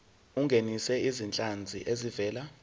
ungenise izinhlanzi ezivela